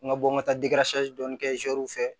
N ka bɔ n ka taa kɛ fɛ